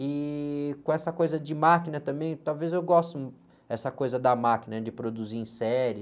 E com essa coisa de máquina também, talvez eu goste, essa coisa da máquina, de produzir em série.